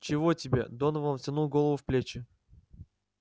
чего тебе донован втянул голову в плечи